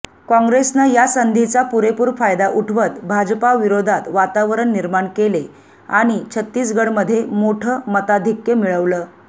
काँग्रेसनं या संधीचा पुरेपूर फायदा उठवत भाजपाविरोधात वातावरण निर्माण केले आणि छत्तीसगडमध्ये मोठं मताधिक्क्य मिळवलं